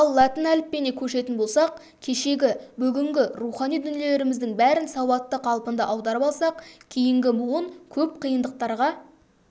ал латын әліпбиіне көшетін болсақ кешегі бүгінгі рухани дүниелеріміздің бәрін сауатты қалпында аударып алсақ кейінгі буын көп қиындықтарға